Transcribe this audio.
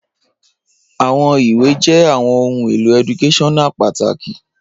Awọn iwe jẹ awọn ohun elo eductaional pataki